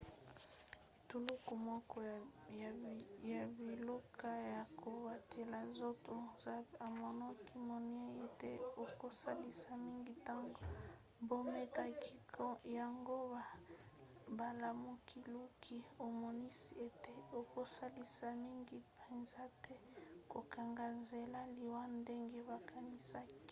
etuluku moko ya biloko ya kobatela nzoto zmapp emonanaki naino ete ekosalisa mingi ntango bamekaki yango kasi bolukiluki emonisi ete ekosalisa mingi mpenza te na kokanga nzela na liwa ndenge bakanisaki